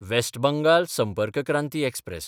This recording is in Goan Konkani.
west Bengal Sampark Kranti express